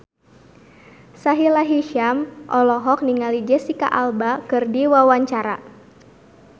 Sahila Hisyam olohok ningali Jesicca Alba keur diwawancara